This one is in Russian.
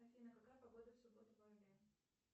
афина какая погода в субботу в орле